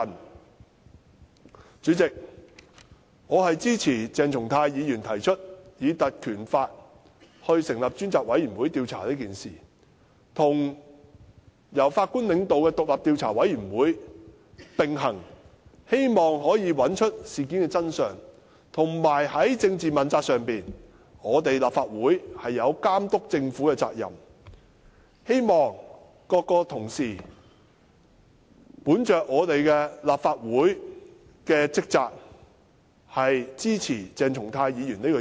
代理主席，我支持鄭松泰議員提出根據《立法會條例》成立專責委員會調查此事，與由法官領導的獨立調查委員會並行，希望可以找出事件的真相，以及在政治問責上，立法會有監督政府的責任，希望各同事以立法會的職責為本，支持鄭松泰議員的議案。